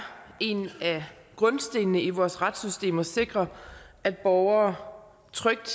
en af grundstenene i vores retssystem at sikre at borgere trygt